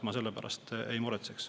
Ma sellepärast ei muretseks.